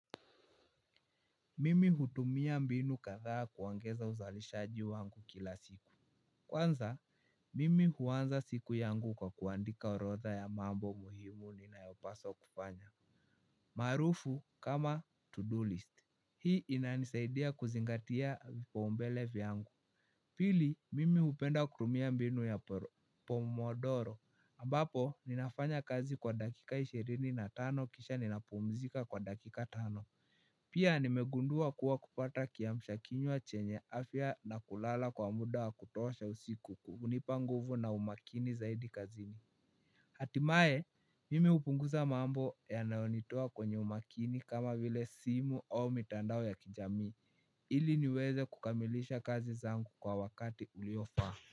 Mimi hutumia mbinu kadhaa kuongeza uzalishaji wangu kila siku. Kwanza, mimi huanza siku yangu kwa kuandika orodha ya mambo muhimu ninayopasa kufanya. Maarufu kama to-do list hii inanisaidia kuzingatia vipaumbele vyangu. Pili, mimi hupenda kutumia mbinu ya pomodoro ambapo ninafanya kazi kwa dakika ishirini na tano kisha ninapumzika kwa dakika tano. Pia nimegundua kuwa kupata kiamsha kinywa chenye afya na kulala kwa muda wa kutosha usiku hunipa nguvu na umakini zaidi kazini. Hatimaye mimi hupunguza mambo yanayonitoa kwenye umakini kama vile simu au mitandao ya kijamii ili niweze kukamilisha kazi zangu kwa wakati uliofaa.